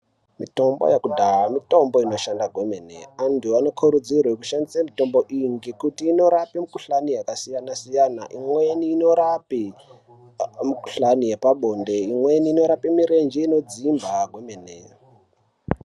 Mitombo yekudhaya mitombo inoshanda kwemene antu anokurudzirwe kushandisa mitombo iyi ngekuti inorapa mukhuhlani yakasiyana siyana imweni inorape mukhuhlane yepabonde imweni inorape mirenje inodzimba kwemene.